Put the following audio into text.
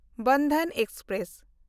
Bandhan express